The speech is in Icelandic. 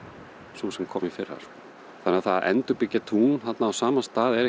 sú sem kom í fyrra þannig að það að endurbyggja tún þarna á saman stað er